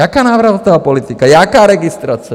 Jaká návratová politika, jaká registrace?